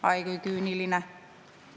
Ai, kui küüniline!